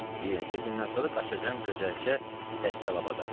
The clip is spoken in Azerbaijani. Bir neçə gündən sonra qaçacam Gözəlçə Dəccalabada.